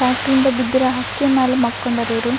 ಫ್ಯಾಕ್ಟರಿಯಿಂದ ಬಿದ್ ಇರೋ ಹಕ್ಕಿ ಮ್ಯಾಲ್ ಮಾಕೊಂಡಾರ್ ಇವ್ರು.